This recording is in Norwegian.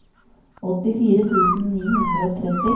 åttifire tusen ni hundre og tretti